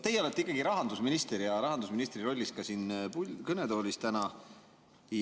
Teie olete ikkagi rahandusminister ja rahandusministri rollis ka siin kõnetoolis täna.